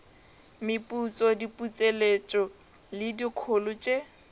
meputso diputseletšo le dikholo tše